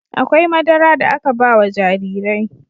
Akwai madara da aka ba wa jarirai..